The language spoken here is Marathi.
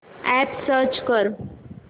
अॅप सर्च कर